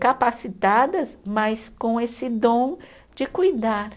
capacitadas, mas com esse dom de cuidar.